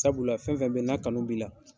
Sabula fɛn fɛn bɛ n'a kanu b'i la.